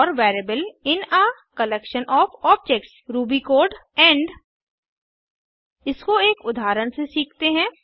four variable in a collection of objects Ruby code and इसको एक उदहारण से सीखते हैं